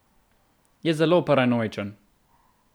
Je zelo paranoičen.